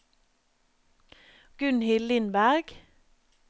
Gunnhild Lindberg